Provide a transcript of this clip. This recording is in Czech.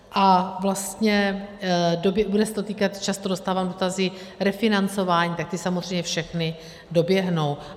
A vlastně bude se to týkat, často dostávám dotazy, refinancování, tak ty samozřejmě všechny doběhnou.